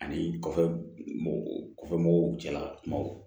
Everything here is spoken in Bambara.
Ani kɔfɛ kɔfɛ mɔgɔw cɛla kumaw